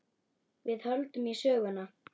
Við höldum í söguna.